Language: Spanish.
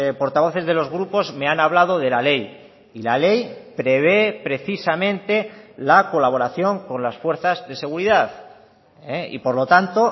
portavoces de los grupos me han hablado de la ley y la ley prevé precisamente la colaboración con las fuerzas de seguridad y por lo tanto